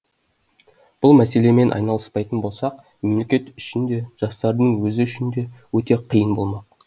бұл мәселемен айналыспайтын болсақ мемлекет үшін де жастардың өзі үшін де өте қиын болмақ